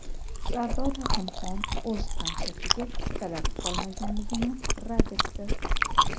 Sardor Rahimxon o‘z konsertiga chiptalar qolmaganligini rad etdi.